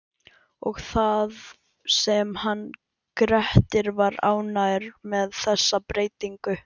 Og það sem hann Grettir var ánægður með þessa breytingu!